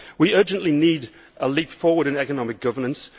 We urgently need a leap forward in economic governance